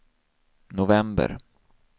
november